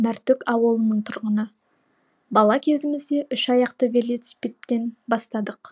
мәртөк ауылының тұрғыны бала кезімізде үш аяқты велосипедтен бастадық